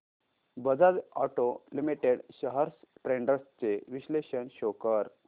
Bajaj auto limited shares trends चे विश्लेषण show कर